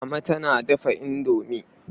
Mama tana dafa indomi.